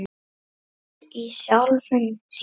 Guð í sjálfum þér.